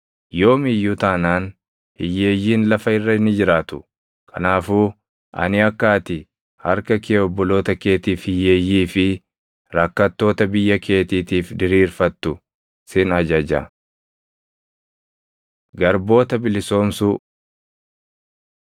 Yoom iyyuu taanaan hiyyeeyyiin lafa irra ni jiraatu. Kanaafuu ani akka ati harka kee obboloota keetiif, hiyyeeyyii fi rakkattoota biyya keetiitiif diriirfattu sin ajaja. Garboota Bilisoomsuu 15:12‑18 kwf – Bau 21:2‑6 15:12‑18 kwi – Lew 25:38‑55